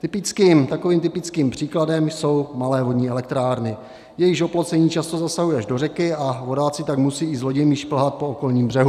Takovým typickým příkladem jsou malé vodní elektrárny, jejichž oplocení často zasahuje až do řeky, a vodáci tak musí i s loděmi šplhat po okolním břehu.